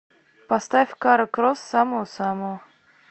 поставь кара кросс самого самого